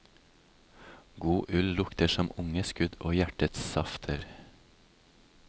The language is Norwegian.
God ull lukter som unge skudd og hjertets safter.